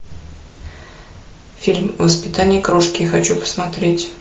фильм воспитание крошки хочу посмотреть